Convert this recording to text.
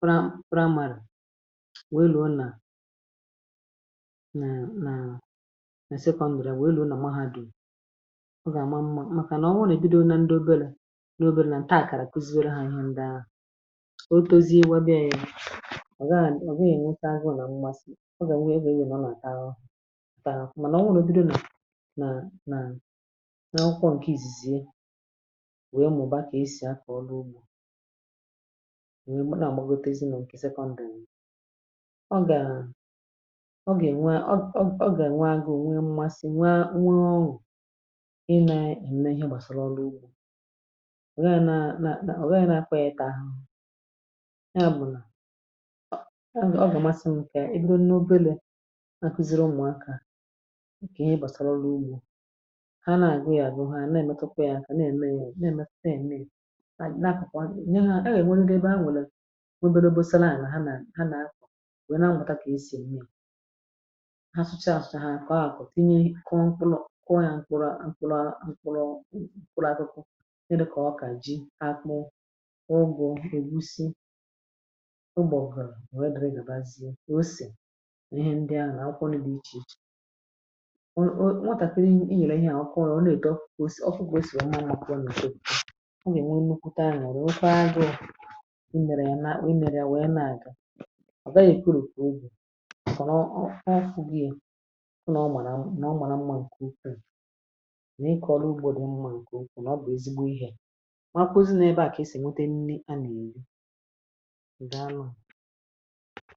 pra pra màrà, wee luo nà nà nà àsa ikọ̇ ǹdìrà. Wee luo nà mma ha dù. Ọ gà-àma mmȧ, màkà nà ọ nwụnà ebido. Nà ndị obere, nà obere, nà ǹtọ àkàrà. Otozi ịwȧ bịa yȧ — “ọ̀ gịnị?” Ọ̀ bịa yȧ, nwete agụụ, nà mmasị. Ọ gà-ǹwe ebė egwè nọ̀ nà taa hụ, mànà ọ nwụrụ. Bido nà nà n’ọkụọ ǹkè ìzìzìe, wèe ụmụ̀bà, kà esì akọ̀ ọrụ ugbȯ. Nà ọ̀ gbogotezi nọ̀ ǹkè sekọndị̀. Ọ gà, ọ gà-ènwe agụ? Ò nwe mmasị? Nwa nwe ọṅụ̀ i nè ème ihe gbàsàrà ọrụ ugbȯ. Ya bụ̀ nà ọ bụ̀ ọgọdọ̀ nke i nyo. Obelė, akụziri ụmụ̀akȧ ǹkè i gbàsara ọrụ ugbȯ. Ha na-agị yȧ bụ ha na-èmetupu yȧ. Ǹkè na-ème, ya na-ème, na-ème n’akwụ̀kwọ. Ènye ha, a gà-ènwe nkebe. Ha nwèlè obere, dobaoshala àlà ha. Nà ha nà-akwụ̀, nwèe na-anwụta, kà esì mmịa ha sụchaa, àsụ̀chà ha. Kà o nkwụlọ̀ kụọ ya mkpụrụ, àkwụrụ, ǹkwụrụ, àtụkụ. Ụgbọ̀ gà-àweriri, gà-àbazie kà osè. Nà ihe ndị ahụ̀, nà akwụkwọ ndị dị̇ ichè ichè. Nwatàkiri inyèrè ihe à, nwakọrọ, ọ nà-èdo. Kà ọ kà esìwa, ọ maa n’ụkwụ, pùti. Ọ gà-ènwe nnukwùta anyȧ. Ọ nà-ọkwa agụụ, ị nyèrè ya nà akpụ. Ị nyèrè ya, nwèe, na-àga. Ọ̀ ve yȧ? Èkerù? Kà obù? Kà ọ rọ̀? Ọ̀ kwa gị yė. Nà ọ màrà mmȧ, ǹkè ukwu, nà ị kọ̀rọ̀ ugbȯ. Dị̇ mmȧ, ǹkè ukwu. Nà ọ bụ̀ ezigbo ihė. Ndị anwụ.